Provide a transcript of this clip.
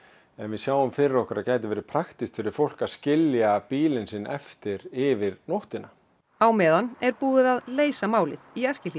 en við sjáum fyrir okkur að gæti verið praktískt fyrir fólk að skilja bílinn sinn eftir yfir nóttina á meðan er búið að leysa málið í Eskihlíðinni